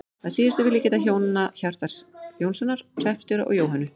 Að síðustu vil ég geta hjónanna Hjartar Jónssonar hreppstjóra og Jóhönnu